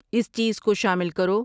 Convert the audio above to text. اس چیز کو شامل کرو